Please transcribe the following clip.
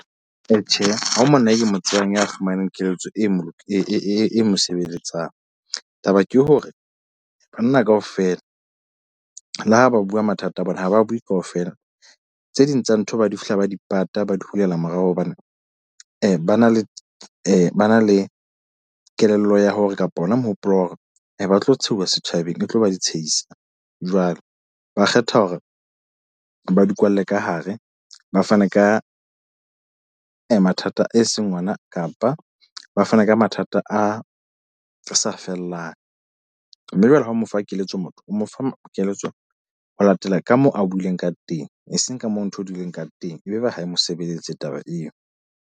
Tjhe, ha ho monna ke mo tsebang ya fumaneng keletso e mo e mosebeletsang. Taba ke hore banna kaofela le ha ba bua mathata a bona, ha ba bue kaofela. Tse ding tsa ntho ba di fihla, ba di pata, ba di hulela morao, hobane ba na le ba na le kelello ya hore kapa hona mohopolo wa hore ba tlo tshehuwa setjhabeng. E tlo ba di tshehisa. Jwale ba kgetha hore ba di kwalle ka hare. Ba fane ka mathata a e seng ona kapa ba fane ka mathata a, a sa fellang. Mme jwale ha o mo fa keletso motho o mo fa keletso ho latela ka moo a buileng ka teng, eseng ka moo ntho dileng ka teng, ebe ba ha e mo sebeletse taba eo.